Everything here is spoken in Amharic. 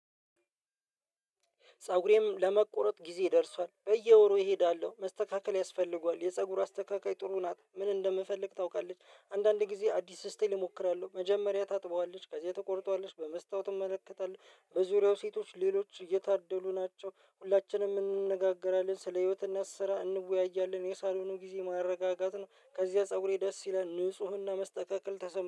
ፀጉሬም ለመቆረጥ ጊዜ ደርሷል በየወሩ እሄዳለው መስተካከል ያስፈልገዋል። የፀጉር አስተካካይ ጥሩ ናት ምን እንደምፈልግ ታውቃለች። አንድ አንድ ጊዜ አዲስ እስታይል እሞክራለው። መጀመሪያ ታጥበዋለች ከዛ ትቆርጠዋለች በመስታወት እመለከታለው። በዙሪያው ሴቶች ሌሎች የታደሉ ናቸው። ሁላችንም እንነጋገራለን ስለ ህይወት እና ስራ እንወያያለን። የሳሎኑ ጊዜ ማረጋጋት ነው። ከዚያ ፀጉሬ ደስ ይለን ንፁህና መስተካከል ተሰማ